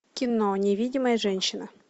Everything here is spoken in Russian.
кино невидимая женщина